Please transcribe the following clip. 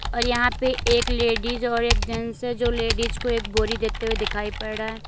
और यहां पे एक लेडिज और एक जेंट्स है जो लेडिस को एक बोरी देते हुए दिखाई पड़ रहा है।